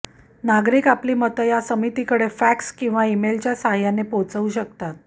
नागरिक आपली मतं या समितीकडे फॅक्स किंवा ईमेलच्या साहाय्याने आपली पोहचवू शकतात